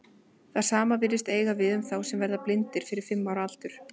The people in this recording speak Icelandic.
Það sama virðist eiga við um þá sem verða blindir fyrir fimm ára aldur.